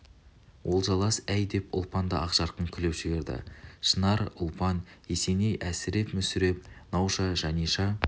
олжалас әй деп ұлпан да ақжарқын күліп жіберді шынар ұлпан есеней әсіреп мүсіреп науша жаниша